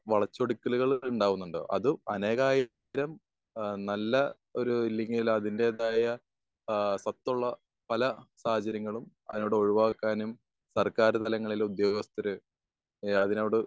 വളച്ചൊടിക്കലുകൾ ഉണ്ടാകുന്നുണ്ട്. അതും അനേകായിരം ഏഹ് നല്ല ഒരു ഏഹ് അല്ലെങ്കിൽ അതിന്റേതായ ഏഹ് സത്തുള്ള പല സാഹചര്യങ്ങളും അതിലൂടെ ഒഴിവാക്കാനും സർക്കാർ തലങ്ങളിലെ ഉദ്യോഗസ്ഥർ ഏഹ് അതിനോട്